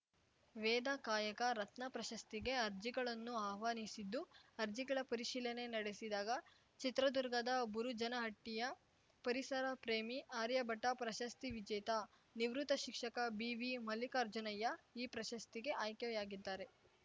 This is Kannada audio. ವೇದ ಕಾಯಕ ರತ್ನ ಪ್ರಶಸ್ತಿಗೆ ಅರ್ಜಿಗಳನ್ನು ಆಹ್ವಾನಿಸಿದ್ದು ಅರ್ಜಿಗಳ ಪರಿಶೀಲನೆ ನಡೆಸಿದಾಗ ಚಿತ್ರದುರ್ಗದ ಬುರುಜನಹಟ್ಟಿಯ ಪರಿಸರ ಪ್ರೇಮಿ ಆರ್ಯಭಟ ಪ್ರಶಸ್ತಿ ವಿಜೇತ ನಿವೃತ್ತ ಶಿಕ್ಷಕ ಬಿವಿಮಲ್ಲಿಕಾರ್ಜುನಯ್ಯ ಈ ಪ್ರಶಸ್ತಿಗೆ ಆಯ್ಕೆಯಾಗಿದ್ದಾರೆ